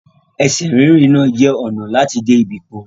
Ẹsẹ̀ rínrìn náà je ọnà lati dé ibìkan